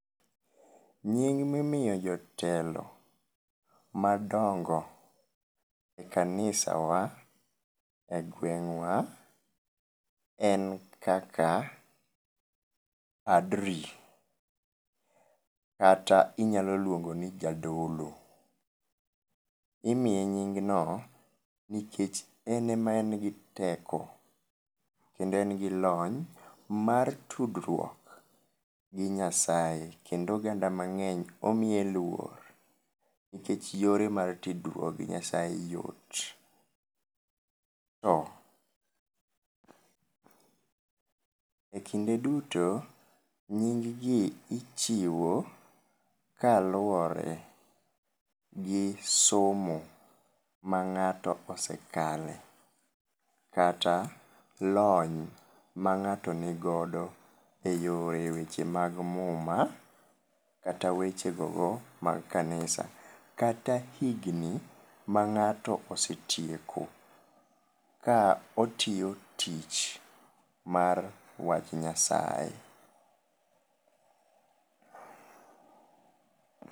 Nying mimiyo jotelo madongo e kanisawa e gwengwa en kaka padri kata inyalo luongo ni jadolo. Imiye nying no nikech en ema en gi teko kendo en gi lony mar tudruok gi Nyasaye kendo oganda mangeny omiye luor nikech yore mar tudruok gi Nyasaye yot .To ekinde duto nying gi ichiwo kaluore gi somo ma ng'ato osekale kata lony ma ng'ato nigodo eyo e weche mag muma kata weche gogo mag kanisa kata higni ma ng'ato osetieko ka otiyo tich mar wach nyasaye